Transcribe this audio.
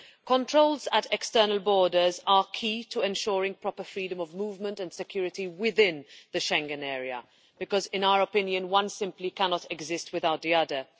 Controls at external borders are key to ensuring proper freedom of movement and security within the Schengen Area because, in our opinion, one simply cannot exist without the other.